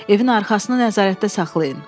Evin arxasına nəzarətdə saxlayın.